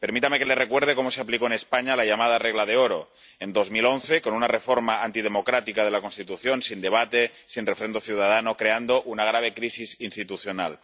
Permítame que le recuerde cómo se aplicó en España la llamada regla de oro en 2011 con una reforma antidemocrática de la Constitución, sin debate, sin refrendo ciudadano, creando una grave crisis institucional...